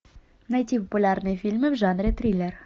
найти популярные фильмы в жанре триллер